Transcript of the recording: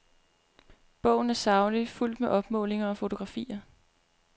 Bogen er saglig, fuldt med opmålinger og fotografier.